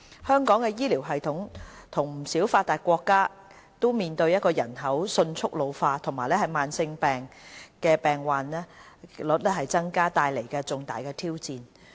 香港的醫療系統與不少發達國家均面對人口迅速老齡化，以及慢性疾病的患病率增加所帶來的重大挑戰。